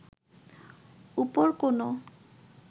উপর কোনো